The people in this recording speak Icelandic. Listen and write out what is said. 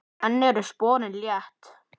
Enn eru sporin létt.